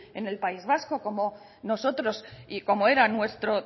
en el país vasco como nosotros y como era nuestro